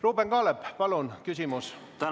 Ruuben Kaalep, palun küsimus!